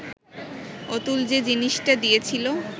অতুল যে জিনিসটা দিয়াছিল